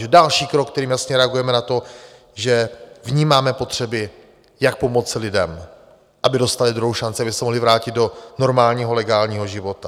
Takže další krok, kterým jasně reagujeme na to, že vnímáme potřeby, jak pomoci lidem, aby dostali druhou šanci, aby se mohli vrátit do normálního legálního života.